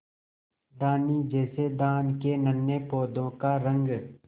धानी जैसे धान के नन्हे पौधों का रंग